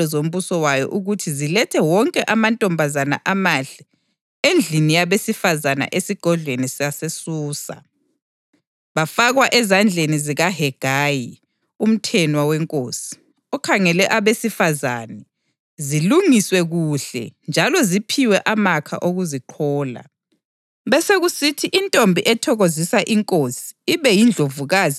Inkosi kayikhethe iziphathamandla kuzozonke izabelo zombuso wayo ukuthi zilethe wonke amantombazana amahle endlini yabesifazane esigodlweni saseSusa. Bafakwe ezandleni zikaHegayi, umthenwa wenkosi, okhangele abesifazane; zilungiswe kuhle njalo ziphiwe amakha okuziqhola.